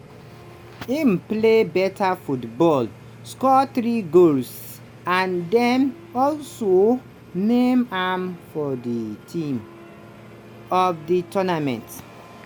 im play better football score three goals and then also name am for the team of the tournament